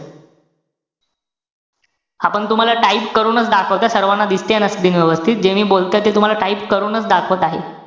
हा पण तुम्हाला type करूनच दाखवतो. सर्वाना दिसतेय ना screen व्यवस्थित. जे मी बोलतोय ते तुम्हाला type करूनच दाखवत आहे.